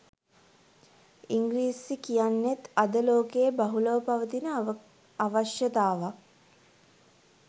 ඉංග්‍රීසි කියන්නෙත් අද ලෝකයේ බහුලව පවතින අවශ්‍යතාවයක්